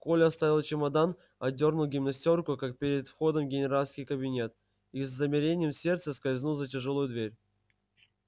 коля оставил чемодан одёрнул гимнастёрку как перед входом в генеральский кабинет и с замиранием сердца скользнул за тяжёлую дверь